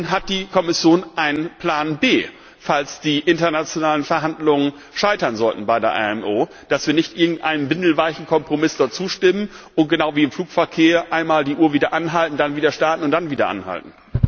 Hat die Kommission einen Plan B, falls die internationalen Verhandlungen bei der IMO scheitern sollten, damit wir nicht irgendeinem windelweichen Kompromiss dort zustimmen und genau wie im Flugverkehr einmal die Uhr wieder anhalten, dann wieder starten und dann wieder anhalten.